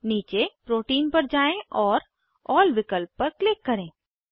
नीचे प्रोटीन पर जाएँ और अल्ल विकल्प पर क्लिक करें